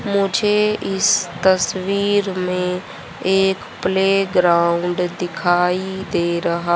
मुझे इस तस्वीर में एक प्ले ग्राउंड दिखाई दे रहा--